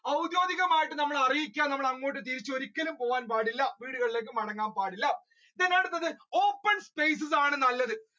ഔദ്യോഗികമായി നമ്മളെ അറിയിക്കാതെ നമ്മളെങ്ങോട്ട് തിരിച്ചു ഒരിക്കലും പോകാൻ പാടില്ല വീടുകളിലേക്ക് മടങ്ങാൻ പാടില്ല. then അടുത്തത് open spaces